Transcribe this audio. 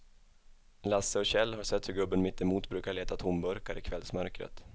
Lasse och Kjell har sett hur gubben mittemot brukar leta tomburkar i kvällsmörkret.